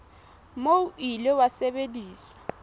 moo o ile wa sebediswa